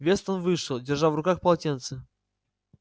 вестон вышел держа в руках полотенце